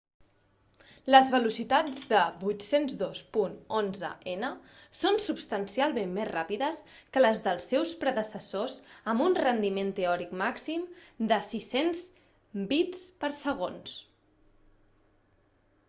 les velocitats de 802.11n són substancialment més ràpides que les dels seus predecessors amb un rendiment teòric màxim de 600mbit/s